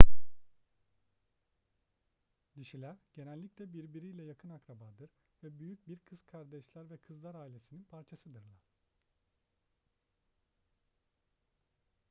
dişiler genellikle birbiriyle yakın akrabadır ve büyük bir kız kardeşler ve kızlar ailesinin parçasıdırlar